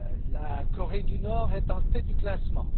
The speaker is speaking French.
La Corée du Nord est en tête du classement.